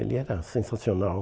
Ele era sensacional.